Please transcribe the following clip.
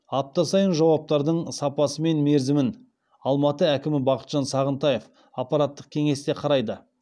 апта сайын жауаптардың сапасы мен мерзімін алматы әкімі бақытжан сағынтаев аппараттық кеңесте қарайды